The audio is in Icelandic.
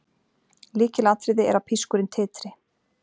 Lykilatriði er að pískurinn titri.